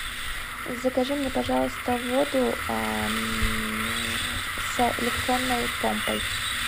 закажи мне пожалуйста воду с электронной помпой